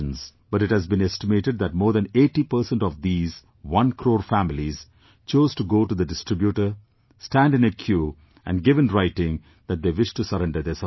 But it has been estimated that more than 80% of these one crore families chose to go to the distributor, stand in a queue and give in writing that they wish to surrender their subsidy